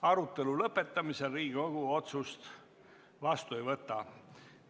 Arutelu lõpetamisel Riigikogu otsust vastu ei võta.